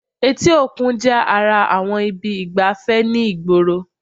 Etí òkun jẹ́ ara àwọn ibi ìgbafẹ́ ni ìgboro